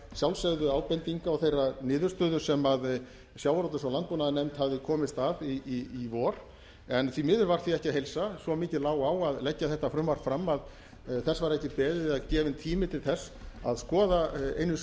sjálfsögðu ábendinga og þeirrar niðurstöðu sem sjávarútvegs og landbúnaðarnefnd hafði komist að í vor en því miður var því ekki að heilsa svo mikið lá á að leggja þetta frumvarp fram að þess var ekki beðið eða gefinn tími til þess að skoða einu